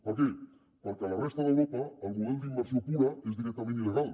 per què perquè a la resta d’europa el model d’immersió pura és directament il·legal